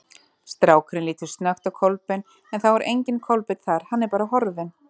Strákurinn lítur snöggt á Kolbein en þá er enginn Kolbeinn þar, hann er bara horfinn.